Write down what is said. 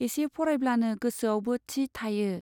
एसे फरायब्लानो गोसोआवबो थि थायो।